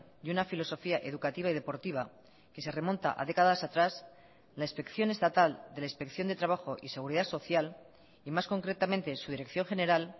y una filosofía educativa y deportiva que se remonta a décadas atrás la inspección estatal de la inspección de trabajo y seguridad social y más concretamente su dirección general